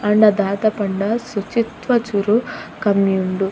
ಆಂಡ ದಾದ ಪಂಡ ಶುಚಿತ್ವ ಚೂರು ಕಮ್ಮಿ ಉಂಡು.